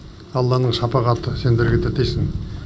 алланың шапағаты сендерге де тисін